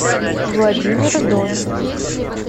владимир дон